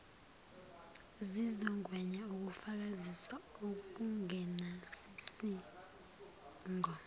zizogwema ukufakazisa okungenasidingo